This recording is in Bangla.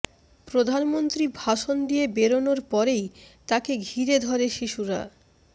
প্রধানমন্ত্রী ভাষণ দিয়ে বেরনোর পরেই তাঁকে ঘিরে ধরে শিশুরা